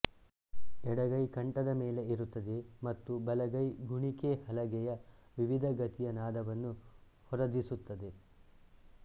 ಎಡಗೈ ಕಂಠದ ಮೇಲೆ ಇರುತ್ತದೆ ಮತ್ತು ಬಲಗೈ ಗುಣಿಕೆ ಹಲಗೆಯ ವಿವಿಧ ಗತಿಯ ನಾದವನ್ನು ಹೊರದಿಸುತ್ತದೆ